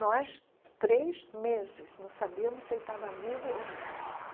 Nós, três meses, não sabíamos se ele estava vivo ou não.